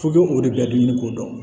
F'i k'o o de bɛ dumuni ɲini k'o dɔn